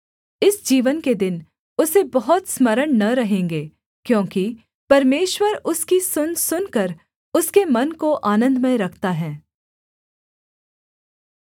इस जीवन के दिन उसे बहुत स्मरण न रहेंगे क्योंकि परमेश्वर उसकी सुन सुनकर उसके मन को आनन्दमय रखता है